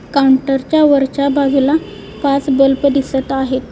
Counter च्या वरच्या बाजूला पाच बल्ब दिसत आहेत.